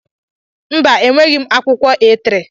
Mba e nweghị akwụkwọ A3